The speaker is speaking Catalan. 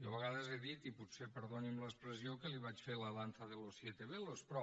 jo a vegades he dit i potser perdoni’m l’expressió que li vaig fer la danza de los siete velos però